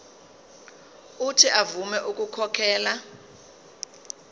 uuthi avume ukukhokhela